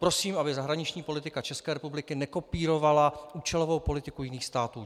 Prosím, aby zahraniční politika České republiky nekopírovala účelovou politiku jiných států.